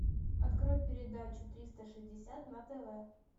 открой передачу триста шестьдесят на тв